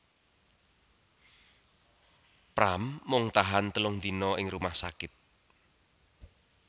Pram mung tahan telung dina ing rumah sakit